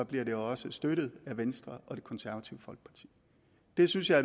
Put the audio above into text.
bliver de også støttet af venstre og det konservative folkeparti det synes jeg